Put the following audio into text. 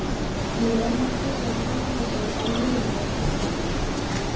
Lena tekur um handlegginn á Júlíu, þrýstir hann.